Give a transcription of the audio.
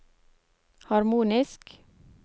harmonisk